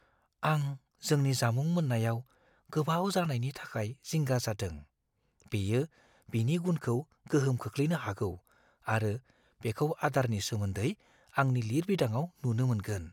आं जोंनि जामुं मोननायाव गोबाव जानायनि थाखाय जिंगा जादों। बेयो बिनि गुनखौ गोहोम खोख्लैनो हागौ आरो बेखौ आदारनि सोमोन्दै आंनि लिरबिदांआव नुनो मोनगोन।